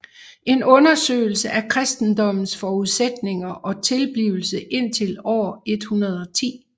En undersøgelse af kristendommens forudsætninger og tilblivelse indtil år 110